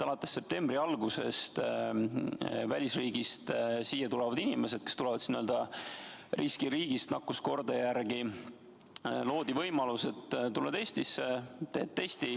Alates septembri algusest on loodud välisriigist siia saabuvatele inimestele, kes tulevad nakkuskordaja järgi n-ö riskiriigist, et tuled Eestisse, teed testi.